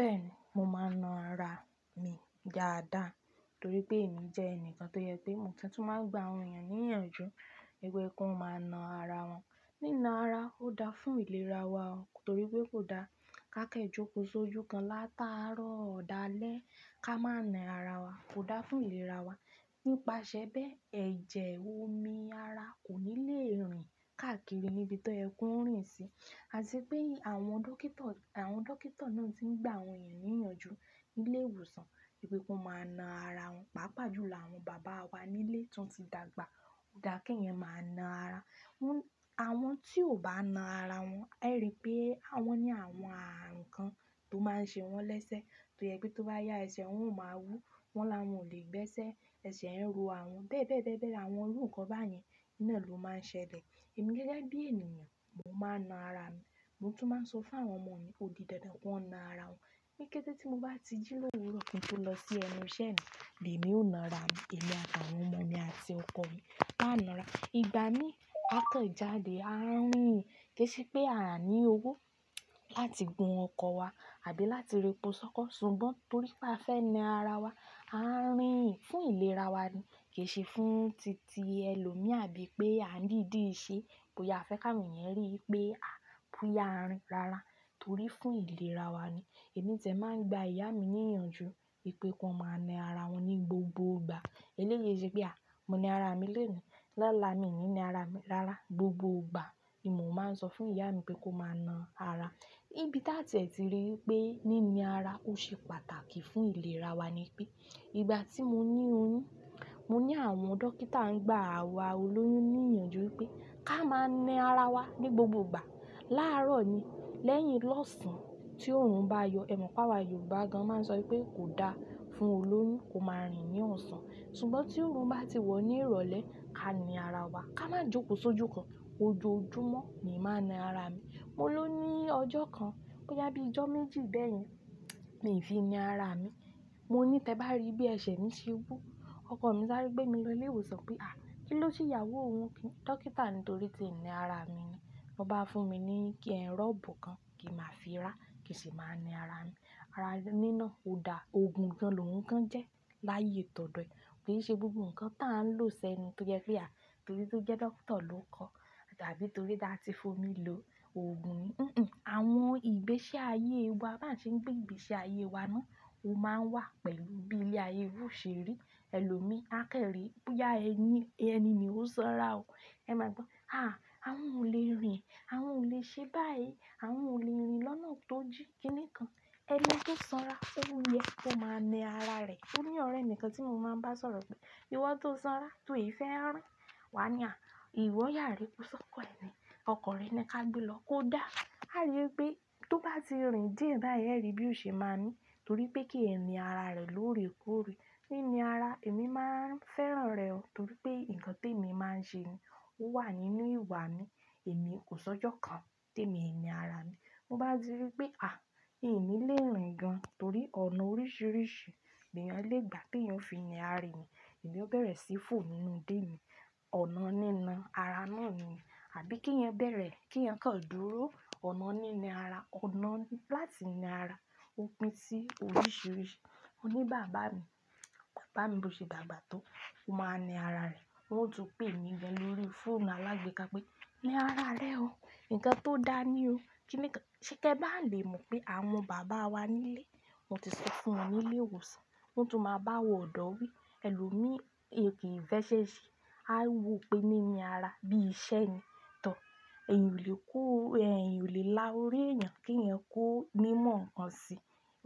Bẹ́ẹ̀ni, mo máa ń na ara mi dáadáa torí pé èmi jẹ́ ẹnìkan tó yẹ pé mo ti tún máa ń gba àwọn èeyàn ní ìyànjú nípé kó máa na ara wọn. Nína ara ò dáa fún ìlera wa ọ, torí pé kò dáa ká kẹ jókò ṣójú kan látàárọ̀ dálẹ̀ ká máa na ara wa. Kò dáa fún ìlera wa. N pasẹ̀ bẹ́ẹ̀, ẹ̀jẹ̀ omi ara kò ní le rìn káàkiri níbi te ẹ kún ń rìn sí. Àti pé àwọn dókíto, àwọn dókíto náà tí ń gba àwọn èeyàn ní ìyànjú nílé ìwòsàn wípé kó máa na ara wọn. Pápà jùlọ àwọn bàbá wa nílé tó ń ti dàgbà, ó dá kí èèyàn máa na ara. Wọ́n, àwọn tí ò bá na ara wọn, ẹ ríi pé àwọn ní àwọn àrùn kan tó máa ń ṣe wọ́n lẹ́sẹ̀ tó yẹ pé tó bá yá ẹsẹ̀ wọn, ọ máa wú. Wọ́n la wọn ò lè gbẹ́sẹ̀, ẹsẹ̀ ń ro àwọn bẹ́ẹ̀ bẹ́ẹ̀ bẹ́ẹ̀ bẹ́ẹ̀, àwọn ń rù nǹkan bá yẹn. Iná yẹn lò máa ń ṣẹlẹ̀. Èmi gẹ́gẹ́ bí ènìyàn, mo máa ń na ara mi. Mo tún máa ń sọ fún àwọn ọmọ mi, "òdí dandan ku wọn na ara wọn." Ní kété tí mo bá ti jí lówúró kí n tó lọ sí ẹnu iṣẹ́ mi, le èmi ó na ara mi, èmi àtàwọn ọmọ mi àti ọkọ mi, a na ara. Ìgbà mí, ákọ̀ jádẹ̀ a ń rìn kìí ṣe pé a ní owó láti gun ọkọ̀ wa àbí láti repọ sókọ́ ṣùgbọ́n torí pé a fẹ́ na ara wa. A ń rìn fún ìlera wa ni, kì í ṣe fún títì ẹlòmíì àbí pé a ń dìdí ṣe bóyá a fẹ́ káwọn ènìyàn rí wípé a pùyà rìn rárá torí fún ìlera wa ni. Ẹ̀mí tiẹ̀ máa ń gba ìyá mi ní ìyànjú wípé kó máa na ara wọn ní gbogbo gbà. Eléyìí e ṣe pé a, mo na ara mi lónìí, lọ́la mi ò ní na ara mi rárá. Gbogbo gbà ni mò máa ń sọ fún ìyá mi pé kó máa na ara. Ibí tà tiẹ̀ ti rí wípé nína ara ó ṣe pàtàkì fún ìlera wa ni pé ìgbà tí mo ní oyún, mo ní àwọn dókítà ń gba àwa olóyún ní ìyànjú wípé ká máa na ara wa ní gbogbo gbà. Láarọ̀ ni, lẹ́yìn lọ́sàn-án tí òòrùn bá yọ, ẹ mọ̀ pé àwa Yorùbá gan-an máa ń sọ wípé kò dáa fún olóyún kó máa rìn ní ọ̀sán ṣùgbọ́n tí òòrùn bá ti wọ̀ ní ìrọ̀lẹ́, ká na ara wa, ká má jókòó sójú kan. Ojoojúmọ́ ni màá na ara mi. Mo ló ní ọjọ́ kan, bóyá bíi ìjọ́ méjì bẹ́yẹn, mi fi na ara mi. Mo ní tẹ bá rí bí ẹsẹ̀ mi ṣe wú, ọkọ mi sáré gbé mi lọ ilé ìwòsàn pé à, kí ló ṣe ìyàwó òun kí? Dókítà ni n torí tí ń na ara mi ni. Ó bá fún mi ní kí ẹ̀ rọ́bù kan kí n màá fi ra, kí sì máa na ara mi. Ara nína ò dáa. Òògùn gan lòhuń kán jẹ́ láyé tọ̀dọ̀ ẹ. Kí n ṣe gbogbo ǹnkan táà ń lò sẹ́nu tó yẹ pé a, torí tó jẹ́ doctor ló kọ́, àbí torí da ti fún mi lo òògùn ni. Nn, àwọn ìgbésí ayé wa bá ń ṣe ń gbé ìgbésí ayé wa náà ó máa ń wà pẹ̀lú bí ilé ayé wù ṣe rí. Ẹlòmíì á kẹ́rìí bóyá ẹni, ẹni i ó sanra o. Ẹ máa gbọ́, à, àwọn ò lè rìn, àwọn ò lè ṣe báyìí, àwọn ò lè rìn lọ́nà tó jí. Kí ni kan ẹni tó sanra, òun yẹn kó máa na ara rẹ̀. Ó ní ọ̀rẹ́ mì kan tí mo máa ń bá sọ̀rọ̀ pé, "ìwọ tó sanra, tó ì fẹ́ rìn, wà á ní à, ìwọ yàá rí ipò sókọ́ ẹni, ọkọ rẹ ni ká gbé lọ kó dáa." A rí wípé tó bá ti rìn díẹ̀ báyìí ẹ́ rí bí òṣe máa mí torí pé kí ẹ ni ara rẹ̀ lóòrèkóòrè. Nína ara, èmi máa ń fẹ́ràn rẹ̀ ọ torí pé ǹnkan tèmi máa ń ṣe ni ó wà nínú ìwà mi. Èmi kò sọjọ́ kan tèmi i na ara mi. Mo bá ti rí pé à, i ni lè rìn gan torí ọ̀nà oríṣìíríṣìí lè èèyàn lè gbà te èèyàn fi na ara èèyàn, èmi ó bẹ̀rẹ̀ sí fò nínú ide mi. Ọ̀nà nína ara náà ni, àbí kíyan bẹ̀rẹ̀ kíyan kàn dúró. Ọ̀nà nína ara, ọ̀nà láti na ara ó pín sí oríṣìíríṣìí. Ó ní bàbá mi, bàbá mi bó ṣe dàgbà tó, ó máa na ara rẹ̀. O ó tún pè mí gan lórí fóònù alágbèéká pé, "na ara rẹ o. Ǹkan tó dáa ni o." Kí ni kan ṣe kẹ bá lè mọ̀ pé àwọn bàbá wa nílé, wọ́n ti sọ fún wọn nílé ìwòsàn, wọ́n tún máa bá wọn ọ̀dọ́ wí, ẹlòmíì è kí ì fẹ́ ṣe ṣe, a wò pé nína ara bí iṣẹ́ ni. Tọ̀, ẹ̀eyan ò lè kó, ẹ̀eyan ò lè lá orí ẹ̀eyàn kíyan kó mímọ̀ ǹnkan sí.